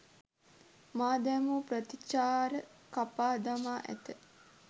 මා දැමූ ප්‍රතිචාර කපා දමා ඇත.